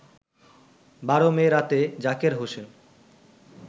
১২ May রাতে জাকের হোসেন